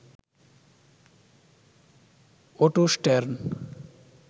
auto Stern